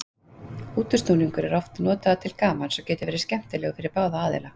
Útúrsnúningur er oft notaður til gamans og getur verið skemmtilegur fyrir báða aðila.